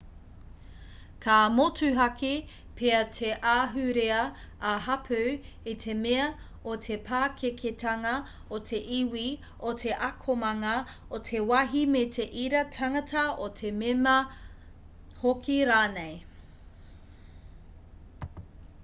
ka motuhake pea te ahurea-ā-hapū i te mea o te pakeketanga o te iwi o te akomanga o te wāhi me te ira tangata o te mema hoki rānei